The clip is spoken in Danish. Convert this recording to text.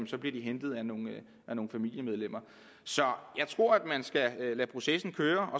så bliver hentet af nogle familiemedlemmer så jeg tror at man skal lade processen køre